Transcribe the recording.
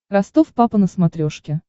ростов папа на смотрешке